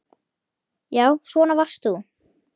Já, svona varst þú.